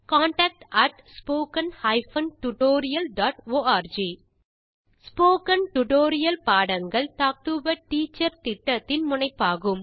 contact at spoken hyphen tutorial dot org spoken tutorial பாடங்கள் talk to a teacher திட்டத்தின் முனைப்பாகும்